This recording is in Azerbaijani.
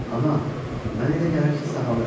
Ana, mənə elə gəlir ki, sağalıram.